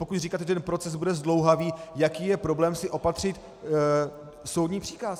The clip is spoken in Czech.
Pokud říkáte, že ten proces bude zdlouhavý, jaký je problém si opatřit soudní příkaz?